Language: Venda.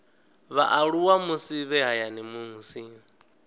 vhaaluwa musi vhe hayani musi